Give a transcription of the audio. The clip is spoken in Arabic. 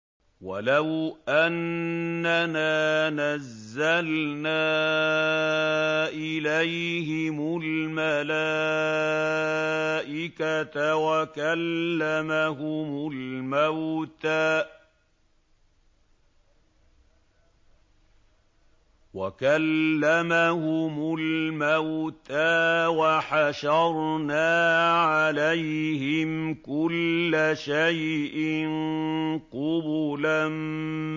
۞ وَلَوْ أَنَّنَا نَزَّلْنَا إِلَيْهِمُ الْمَلَائِكَةَ وَكَلَّمَهُمُ الْمَوْتَىٰ وَحَشَرْنَا عَلَيْهِمْ كُلَّ شَيْءٍ قُبُلًا